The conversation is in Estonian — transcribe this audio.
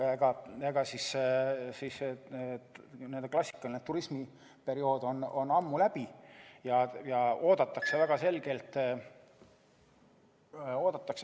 Klassikaline turismiperiood on ammu läbi ja oodatakse väga selgelt ...